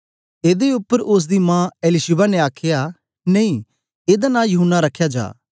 एदे उपर ओसदी मां एलीशिबा ने आखया नेई एदा नां यूहन्ना रखया जा